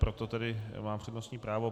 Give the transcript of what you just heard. Proto tedy má přednostní právo.